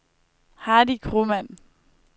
Hardy Kromann